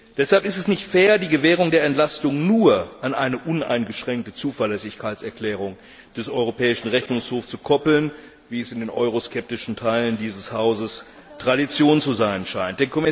Deshalb ist es nicht fair, die Gewährung der Entlastung nur an eine uneingeschränkte Zuverlässigkeitserklärung des Europäischen Rechnungshofs zu koppeln, wie es in den euroskeptischen Teilen dieses Hauses Tradition zu sein scheint.